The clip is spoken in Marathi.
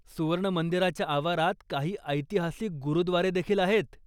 सुवर्ण मंदिराच्या आवारात काही ऐतिहासिक गुरुद्वारे देखील आहेत.